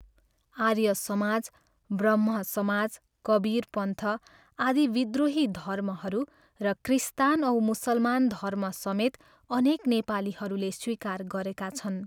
आर्य समाज, ब्रह्म समाज, कबीर पन्थ आदि विद्रोही धर्महरू र क्रिस्तान औ मुसलमान धर्मसमेत अनेक नेपालीहरूले स्वीकार गरेका छन्।